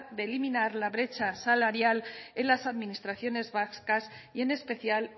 de eliminar la brecha salarial en las administraciones vascas y en especial